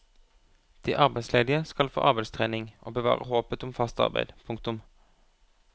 De arbeidsledige skal få arbeidstrening og bevare håpet om fast arbeid. punktum